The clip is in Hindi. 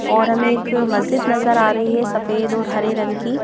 और हमें एक मस्जिद नजर आ रही है सफेद और हरे रंग की--